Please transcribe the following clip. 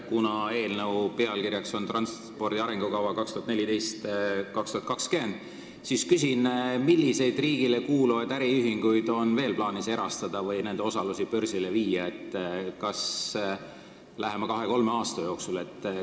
Kuna eelnõu pealkiri on ""Transpordi arengukava 2014–2020" muutmine", siis küsin, milliseid riigile kuuluvaid äriühinguid on veel plaanis lähima kahe-kolme aasta jooksul erastada või nende osalusi börsile viia.